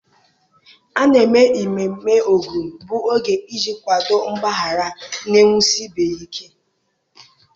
A na-eme ememme ógun bụ oge iji kwadoo, mgbaghara, na-ewusi ibe ya ike.